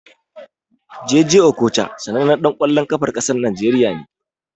Jay jay Okocha sanannan ɗan ƙwallon ƙafan ƙasar Najeriya ne.